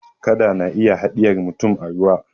kada na iya hadiyarvmurum a ruwa